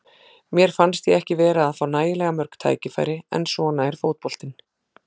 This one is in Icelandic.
Mér fannst ég ekki vera að fá nægilega mörg tækifæri, en svona er fótboltinn.